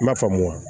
I m'a faamu wa